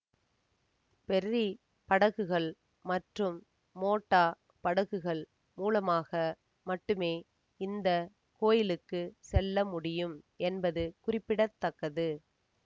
ferry படகுகள் மற்றும் motor படகுகள் மூலமாக மட்டுமே இந்த கோயிலுக்கு செல்ல முடியும் என்பது குறிப்பிட தக்கது